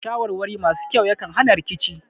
Shawarwari masu kyau yakan hana rikici